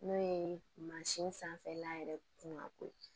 N'o ye mansin sanfɛla yɛrɛ kunkanko ye